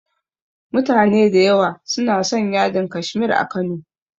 Mutane da yawa suna son yadin Kashmir a Kano.